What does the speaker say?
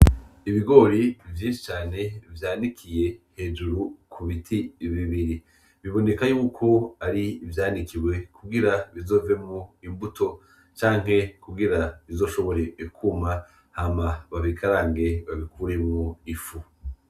Ibigori vyinshi cane vyanikiye hejuru kubiti bibiri, biboneka yuko ari ivyanikiwe kugira bizovemwo imbuto canke kugira bizoshobore kuma hama babikarange babikuremwo ifu.